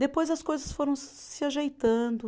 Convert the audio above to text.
Depois, as coisas foram se ajeitando.